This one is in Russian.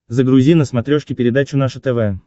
загрузи на смотрешке передачу наше тв